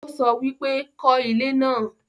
ó sọ wípé 'kọ́ ilé náà'